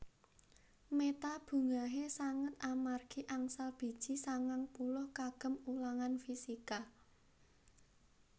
Meta bungahe sanget amargi angsal biji sangang puluh kagem ulangan fisika